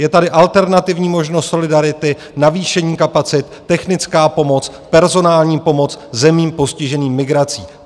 Je tady alternativní možnost solidarity, navýšení kapacit, technická pomoc, personální pomoc zemím postiženým migrací.